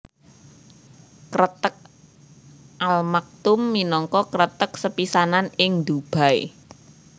Kreteg Al Maktoum minangka kreteg sepisanan ing Dubai